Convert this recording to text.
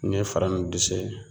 N'i ye fara nuw dɛsɛ